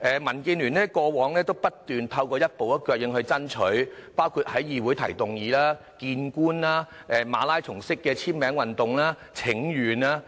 民建聯過往不斷透過一步一腳印爭取，包括在議會提出議案、與官員會面，以及舉行馬拉松式簽名運動和請願。